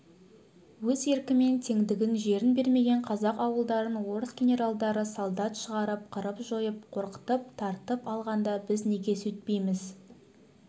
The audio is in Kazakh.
өз еркімен теңдігін жерін бермеген қазақ ауылдарын орыс генералдары солдат шығарып қырып-жойып қорқытып тартып алғанда біз неге сөйтпейміз